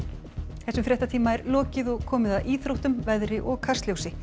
þessum fréttatíma er lokið og komið að íþróttum veðri og Kastljósi